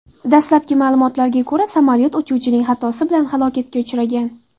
Dastlabki ma’lumotlarga ko‘ra, samolyot uchuvchining xatosi bilan halokatga uchragan.